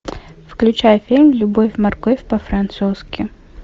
включай фильм любовь морковь по французски